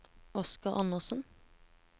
Oscar Andersen